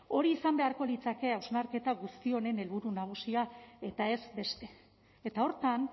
hori izan beharko litzateke hausnarketa guzti honen helburu nagusia eta ez beste eta horretan